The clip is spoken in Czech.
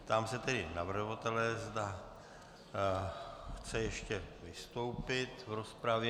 Ptám se tedy navrhovatele, zda chce ještě vystoupit v rozpravě.